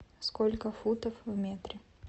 сколько футов в метре